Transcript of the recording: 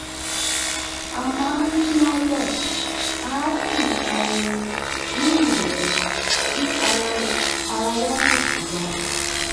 a máa ń yínná lẹ̀ àá sì pa orin ní ìrọ̀lẹ́ kí ara ara wa lè tù wá